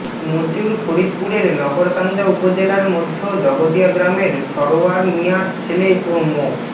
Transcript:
মশিউর ফরিদপুরের নগরকান্দা উপজেলার মধ্য জগদিয়া গ্রামের সরোয়ার মিয়ার ছেলে ও মো